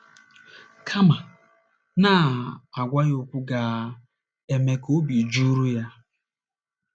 Kama, na - agwa ya okwu ga - eme ka obi jụrụ ya.